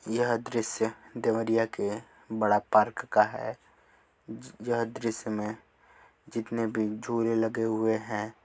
यह दृश्य देवरिया के बड़ा पार्क का है य यह दृश्य में जीतने भी झूले लगे हुए हैं --